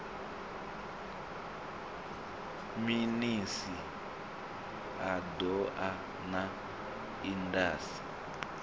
minis a doa na indas